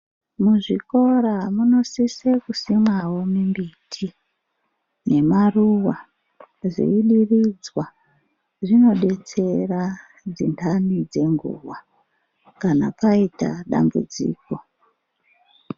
Muzvikora munosise kusimwawo mimbiti nemaruva zveidiridzwa. Zvinodetsera dzintani dzenguva, kana paita dambudziko.